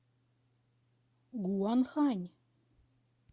гуанхань